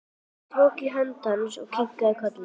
Ég tók í hönd hans og kinkaði kolli.